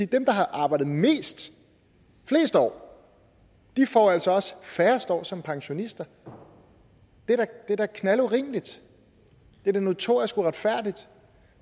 dem der har arbejdet mest flest år altså også får færrest år som pensionister det er da knaldurimeligt det er notorisk uretfærdigt